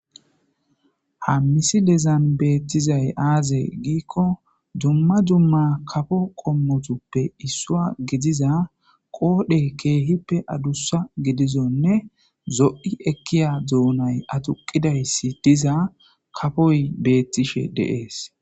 Hammisi dezan beettizay aaze giikko dumma dumma kafo qommotuppe issua gidiza qoodhe keehippe adussa gidizonne zo'i ekkiya duunay atuqidayssi diza kafoy beettishe deees.